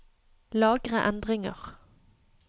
Lagre endringer